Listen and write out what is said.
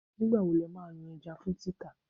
Nígbà wo ni ẹ máa yan ẹja fún títà?